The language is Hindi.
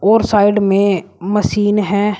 और साइड में मशीन है।